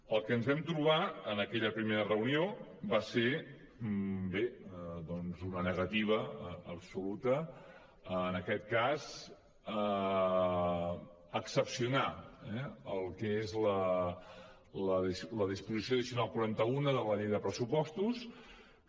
el que ens vam trobar en aquella primera reunió va ser doncs una negativa absoluta en aquest cas a excepcionar el que és la disposició addicional quaranta unena de la llei de pressupostos que